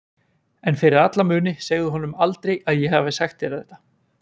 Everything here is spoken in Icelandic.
En fyrir alla muni segðu honum aldrei að ég hafi sagt þér þetta.